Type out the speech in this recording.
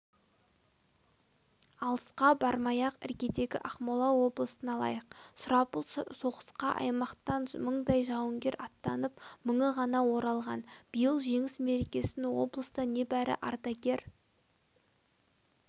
алысқа бармай-ақ іргедегі ақмола облысын алайық сұрапыл соғысқа аймақтан мыңдай жауынгер аттанып мыңы ғана оралған биыл жеңіс мерекесін облыста небәрі ардагер